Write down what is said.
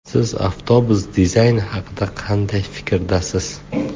Siz avtobus dizayni haqida qanday fikrdasiz?